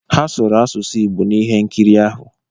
Ha sụrụ asụsụ Igbo n'ihe nkiri ahụ.